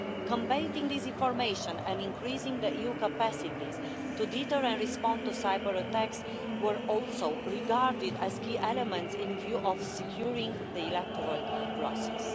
Combating disinformation and increasing the EU capacities to deter and respond to cyber-attacks were also regarded as key elements in view of securing the electoral process.